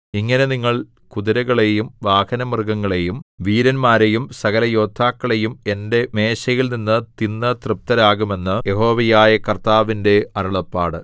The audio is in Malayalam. ഇങ്ങനെ നിങ്ങൾ കുതിരകളെയും വാഹനമൃഗങ്ങളെയും വീരന്മാരെയും സകലയോദ്ധാക്കളെയും എന്റെ മേശയിൽ നിന്ന് തിന്നു തൃപ്തരാകും എന്ന് യഹോവയായ കർത്താവിന്റെ അരുളപ്പാട്